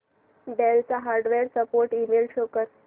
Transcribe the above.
del चा hardware support email show कर